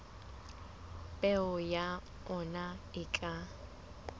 peo ya ona e ka